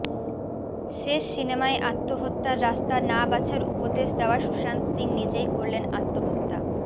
শেষ সিনেমায় আত্মহত্যার রাস্তা না বাছার উপদেশ দেওয়া সুশান্ত সিং নিজেই করলেন আত্মহত্যা